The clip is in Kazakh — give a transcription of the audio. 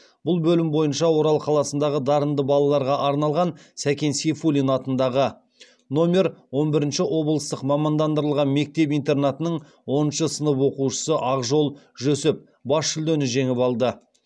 бұл бөлім бойынша орал қаласындағы дарынды балаларға арналған сәкен сейфуллин атындағы номер он бірінші облыстық мамандандырылған мектеп интернатының оныншы сынып оқушысы ақжол жүсіп бас жүлдені жеңіп алды